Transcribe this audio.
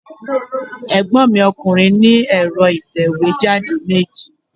Ègbọ́n mi ọkùnrin ní ẹ̀rọ ìtẹ̀wé jáde meji